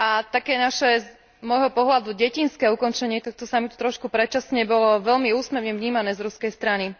Také naše z môjho pohľadu detinské ukončenie tohto samitu trošku predčasne bolo veľmi úsmevne vnímané z ruskej strany.